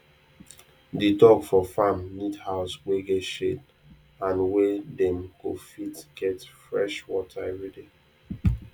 di dog for farm need house wey get shade and where dem go fit get fresh water everyday